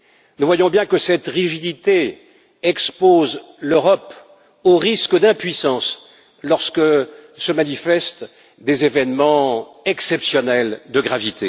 Nous voyons bien que cette rigidité expose l'Europe au risque d'impuissance lorsque se manifestent des événements exceptionnellement graves.